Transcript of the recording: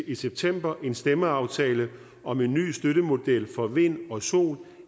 i september en stemmeaftale om en ny støttemodel for vind og sol